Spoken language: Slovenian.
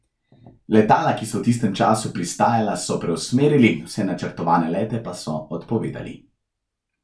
Letala, ki so v tistem času pristajala, so preusmerili, vse načrtovane lete pa so odpovedali.